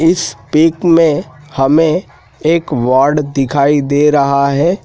इस पिक में हमें एक वार्ड दिखाई दे रहा है।